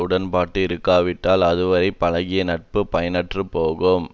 உடன்பட்டு இருக்காவிட்டால் அதுவரை பழகிய நட்பு பயனற்றுப்போகும்